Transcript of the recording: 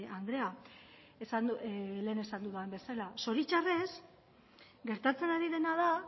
andrea lehen esan dudan bezala zoritxarrez gertatzen ari dena da